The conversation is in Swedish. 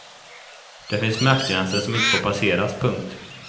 Det finns smärtgränser som inte får passeras. punkt